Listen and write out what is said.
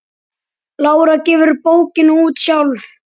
Lára gefur bókina út sjálf.